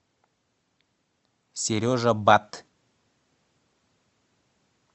сережа батт